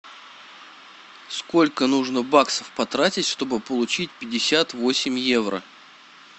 сколько нужно баксов потратить чтобы получить пятьдесят восемь евро